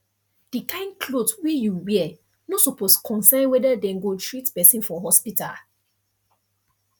the kain cloth wey you wear no suppose concern whether dem go treat person for hospital